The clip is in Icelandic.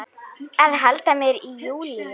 Að halda mér í Júlíu.